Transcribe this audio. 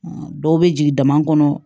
Dɔw bɛ jigin dama kɔnɔ